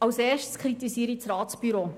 Zuerst kritisiere ich das Ratsbüro.